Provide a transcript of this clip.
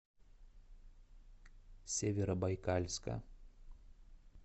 северобайкальска